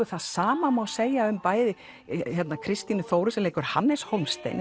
það sama má segja um Kristínu Þóru sem leikur Hannes Hólmstein